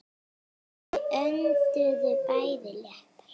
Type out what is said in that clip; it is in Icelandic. Þau önduðu bæði léttar.